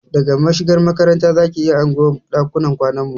Daga mashigar makaranta zaki iya hango ɗakunan kwanan mu